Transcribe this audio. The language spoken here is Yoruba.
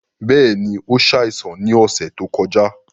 Bẹ́ẹ̀ni, o ṣáìsàn ni ọṣẹ to kọja